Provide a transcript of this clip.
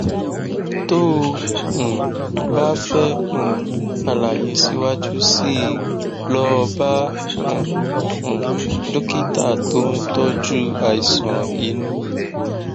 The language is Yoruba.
tó o um bá fẹ um àlàyé síwájú sí i lọ bá um um dókítà tó ń tọjú àìsàn inú